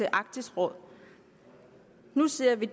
i arktisk råd nu ser vi